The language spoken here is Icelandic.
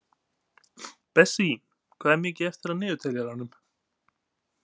Bessí, hvað er mikið eftir af niðurteljaranum?